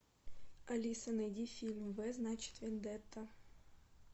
алиса найди фильм в значит вендетта